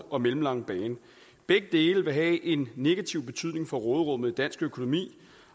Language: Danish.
og mellemlange bane begge dele vil have en negativ betydning for råderummet i dansk økonomi